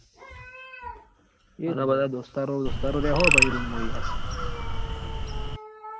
બધા દોસ્તારો રેહુ પસી room માં યાર